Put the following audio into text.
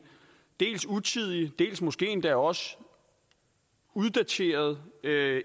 utidig og måske endda også uddateret